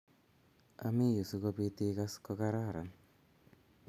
ami yu si ko bit I kass ko kararan